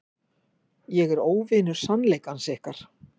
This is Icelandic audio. Ég er óvinur sannleikans ykkar.